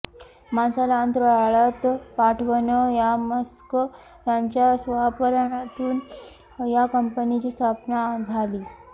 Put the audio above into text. माणसाला अंतराळात पाठवणं या मस्क यांच्या स्वप्नातून या कंपनीची स्थापना झाली